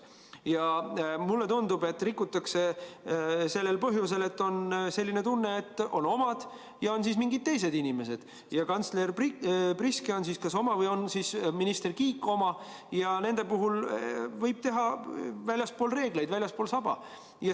Ja mulle tundub, et rikutakse sellel põhjusel, et on omad ja on mingid teised inimesed – kantsler Priske on oma või on minister Kiik oma – ning omasid võib vaktsineerida väljaspool saba.